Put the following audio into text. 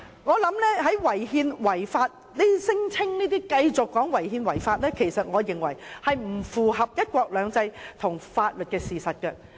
我認為這些聲稱違憲及違法的說法並不符合"一國兩制"及法律的事實。